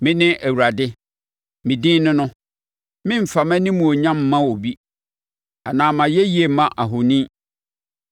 “Mene Awurade; me din ne no! Meremfa mʼanimuonyam mma obi anaa mʼayɛyie mma ahoni.